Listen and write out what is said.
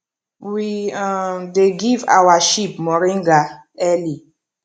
we um dey give our sheep moringa early